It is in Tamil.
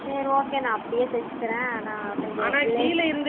சரி okay நான் அப்பிடியே தேச்சிகிறேன் நா கொஞ்சோ